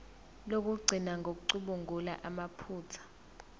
lokugcina ngokucubungula amaphutha